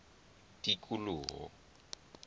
tikoloho